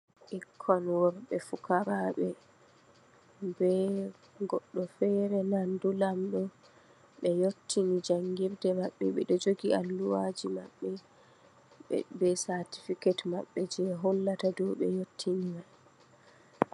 Ɓikkon worɓɓe pukaraɓe, ɓe goɗɗo fere nandu lamɗo, ɓe yottini jangirde maɓɓe, ɓe ɗo jogi alluha ji maɓɓe, ɓe certificate maɓɓe, je hollata ɓe yottini mai.